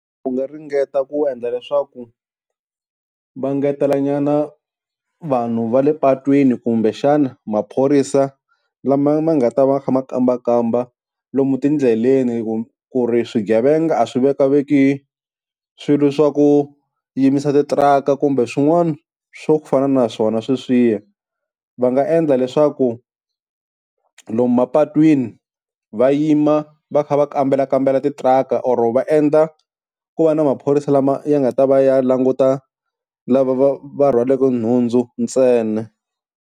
Ku nga ringeta ku endla leswaku va ngetelanyana vanhu va le patwini kumbexana maphorisa lama ma nga ta va kha ma kambakamba lomu tindleleni ku ku ri swigevenga a swi vekaveki swilo swa ku yimisa titiraka kumbe swin'wana swo fana na swona sweswiya, Va nga endla leswaku lomu mapatwini va yima va kha va kambelakambela titiraka or va endla ku va na maphorisa lama ya nga ta va ya languta lava va va rhwaleke nhundzu ntsena.